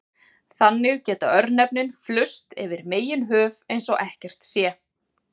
Þannig geta örnefnin flust yfir meginhöf eins og ekkert sé.